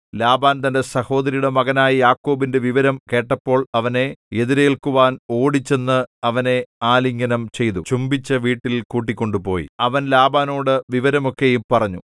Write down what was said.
Laban തന്റെ സഹോദരിയുടെ മകനായ യാക്കോബിന്റെ വിവരം കേട്ടപ്പോൾ അവനെ എതിരേൽക്കുവാൻ ഓടിച്ചെന്ന് അവനെ ആലിംഗനം ചെയ്തു ചുംബിച്ചു വീട്ടിൽ കൂട്ടിക്കൊണ്ടുപോയി അവൻ ലാബാനോടു വിവരം ഒക്കെയും പറഞ്ഞു